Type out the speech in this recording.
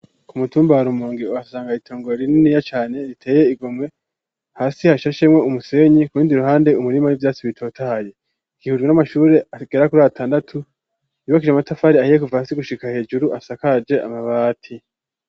Ku mutumba wa rumonge uhasanga itongoro rinini cane riteye igomwe hasi hashashemwo umusenyi kurindi iruhande umurima w'ivyatsi bitotahaye igihurwe n'amashure agera kuri atandatu yubakishijwe amatafari ahiye kuva hasi gushika hejuru asakaje amabati.